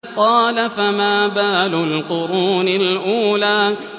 قَالَ فَمَا بَالُ الْقُرُونِ الْأُولَىٰ